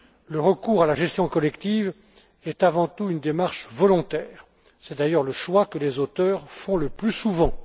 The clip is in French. Le recours à la gestion collective est avant tout une démarche volontaire, et c'est d'ailleurs le choix que les auteurs font le plus souvent.